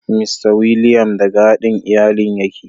Mista Williams daga haɗin iyalin yake.